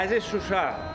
Əziz Şuşa!